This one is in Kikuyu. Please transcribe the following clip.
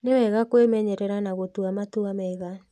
Nĩ wega kwĩmenyerera na gũtua matua mega.